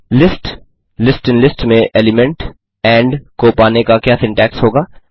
list list in list में element end को पाने का क्या सिन्टैक्स होगा